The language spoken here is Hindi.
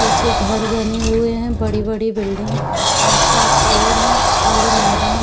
पीछे घर बने हुए हैं बड़ी-बड़ी बिल्डिंग आस-पास पेड़ हैं खाली मैदान --